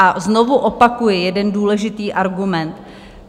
A znovu opakuji jeden důležitý argument.